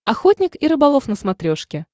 охотник и рыболов на смотрешке